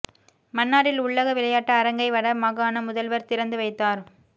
மன்னாரில் உள்ளக விளையாட்டு அரங்கை வட மாகாண முதல்வர் திறந்து வைத்தார்